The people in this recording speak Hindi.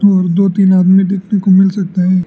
और दो तीन आदमी देखने को मिल सकता है।